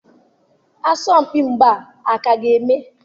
Asọmpi mgba a ka ga-eme?